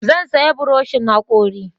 Zan saya buroshin hakori